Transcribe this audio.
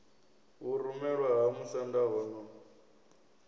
vhurumelwa ha musanda ho no